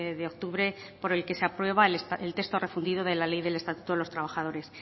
de octubre por el que se aprueba el texto refundido de la ley del estatuto de los trabajadores